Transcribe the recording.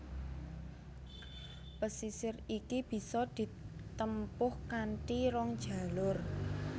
Pesisir iki bisa ditempuh kanthi rong jalur